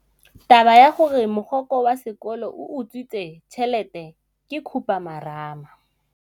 Taba ya gore mogokgo wa sekolo o utswitse tšhelete ke khupamarama.